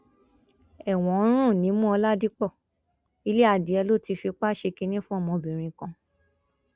ẹwọn ń rùn nímú ọládípò ilé adìẹ ló ti fipá ṣe kínní fún ọmọbìnrin kan